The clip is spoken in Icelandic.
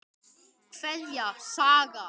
Kveðja, Saga.